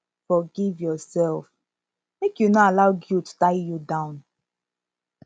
forgive urself mek yu no allow guilt tie you down